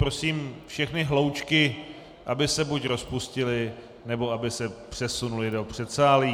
Prosím všechny hloučky, aby se buď rozpustily, nebo aby se přesunuly do předsálí.